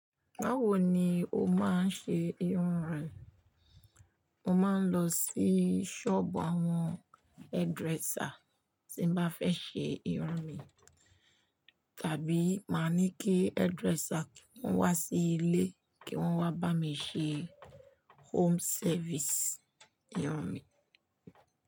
Báwo ni o máa ń ṣe irun rẹ? Mo máa ń lọ sí sọ́ọ̀bù àwọn hairdresser tí mo bá fẹ́ ṣe irun mi, tàbí màá ní kí hairdresser wá sí ilé kí wọ́n wá bá mi ṣe home service irun mi.